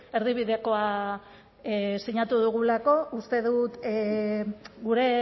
erdibidekoa sinatu dugulako uste dut gure